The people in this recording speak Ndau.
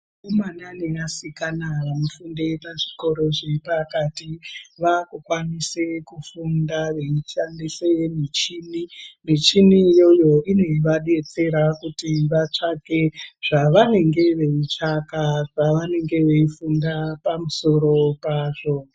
Akomana nevasikana vanofunde pazvikoro zvepakati vakukwanise kufunda veidhandise michini michini iyoyo inovadetsera kuti vatsvake zvavanenge veitsvaka pavanenge veifunda pamusoro pazvo.